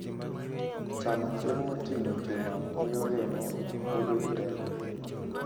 Chamo chiemo moting'o chuma miyo remo bedo gi teko.